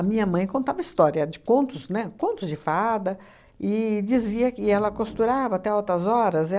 minha mãe contava história de contos, né, contos de fada, e dizia que ela costurava até altas horas.